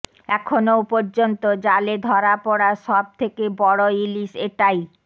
এখনও পর্যন্ত জালে ধরা পড়া সব থেকে বড় ইলিশ এটাই